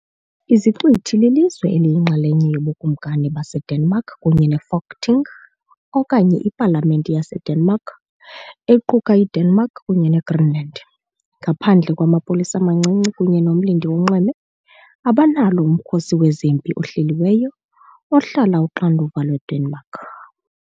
Iziqithi lilizwe eliyinxalenye yoBukumkani baseDenmark kunye neFolketing, okanye iPalamente yaseDenmark, equka iDenmark kunye neGreenland. Ngaphandle kwamapolisa amancinci kunye nomlindi wonxweme, abanalo umkhosi wezempi ohleliweyo, ohlala uxanduva lweDenmark.